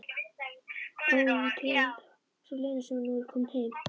Óútreiknanleg sú Lena sem nú er komin heim.